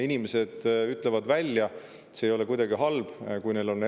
Inimesed ütlevad välja erinevaid arvamusi või hoiatusi, kui neid on.